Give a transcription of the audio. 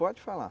Pode falar.